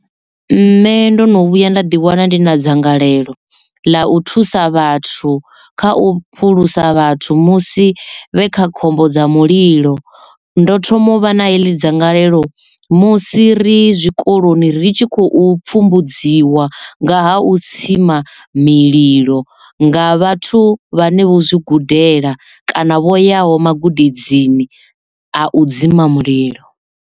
Nṋe ndo no vhuya nda ḓi wana ndi na dzangalelo ḽa u thusa vhathu kha u phulusa vhathu musi vhe kha khombo dza mulilo ndo thoma u vha na heḽi dzangalelo musi ri zwikoloni ri tshi khou pfhumbudziwa nga ha u tsima mililo nga vhathu vhane vho zwi gudela kana vho yaho magudedzini a u dzima mulilo.